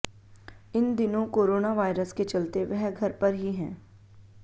इन दिनों corona virus के चलते वह घर पर ही हैं